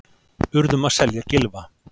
Urðum að selja Gylfa